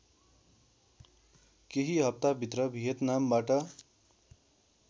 केही हफ्ताभित्र भियतनामबाट